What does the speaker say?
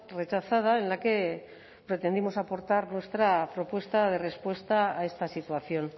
rechazada en la que pretendimos aportar nuestra propuesta de respuesta a esta situación